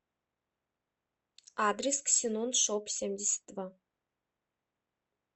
адрес ксеноншопсемьдесятдва